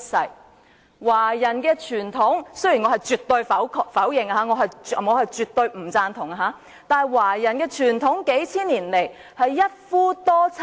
數千年以來，華人的傳統——雖然我絕對否定、絕對不贊同——是一夫多妻，喜